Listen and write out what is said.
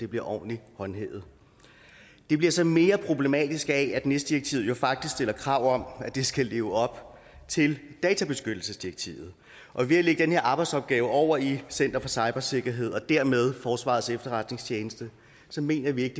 bliver ordentligt håndhævet det bliver så mere problematisk af at nis direktivet jo faktisk stiller krav om at det skal leve op til databeskyttelsesdirektivet og ved at den her arbejdsopgave over i center for cybersikkerhed og dermed forsvarets efterretningstjeneste mener vi ikke